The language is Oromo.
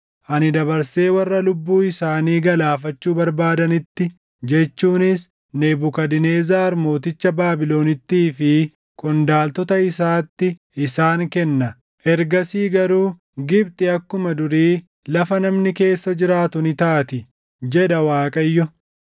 Ani dabarsee warra lubbuu isaanii galaafachuu barbaadanitti, jechuunis Nebukadnezar mooticha Baabilonittii fi qondaaltota isaatti isaan kenna. Ergasii garuu Gibxi akkuma durii lafa namni keessa jiraatu ni taati” jedha Waaqayyo.